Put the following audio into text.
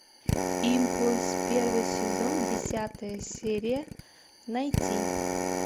импульс первый сезон десятая серия найти